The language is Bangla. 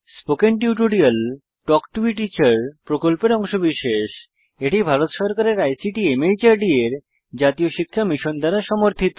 spoken tutorial talk to a teacher প্রকল্পের অংশবিশেষ এটি ভারত সরকারের আইসিটি মাহর্দ এর জাতীয় শিক্ষা মিশন দ্বারা সমর্থিত